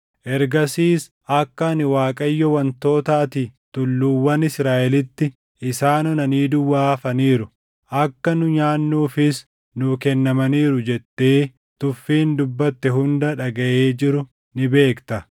Ergasiis akka ani Waaqayyo wantoota ati tulluuwwan Israaʼelitti, “Isaan onanii duwwaa hafaniiru; akka nu nyaannuufis nuu kennamaniiru” jettee tuffiin dubbatte hunda dhagaʼee jiru ni beekta.